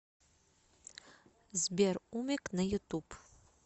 сбер умек на ютуб